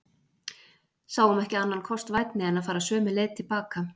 Sáum ekki annan kost vænni en fara sömu leið til baka.